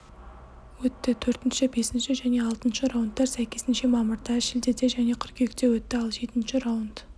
өтті төртінші бесінші және алтыншы раундтар сәйкесінше мамырда шілде де және қыркүйекте өтті ал жетінші раунд